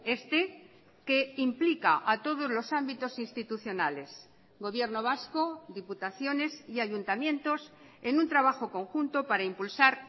este que implica a todos los ámbitos institucionales gobierno vasco diputaciones y ayuntamientos en un trabajo conjunto para impulsar